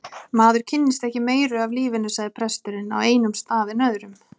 Maður kynnist ekki meiru af lífinu sagði presturinn, á einum stað en öðrum.